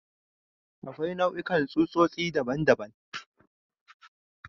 Akwai nau'ikan tsutsotsi daban-daban.